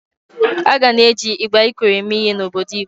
A ga na-eji igba Ikoro eme ihe n’obodo Igbo.